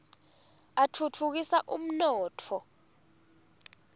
atfutfukisa umnotfo